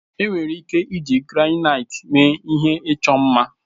Enwere ike iji granaiti mee ihe ịchọ mma.